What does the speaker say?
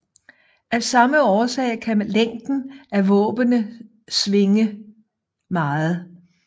Af samme årsag kan længden af våbnene svinge meget